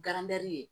ye